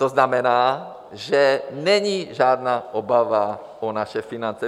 To znamená, že není žádná obava o naše finance.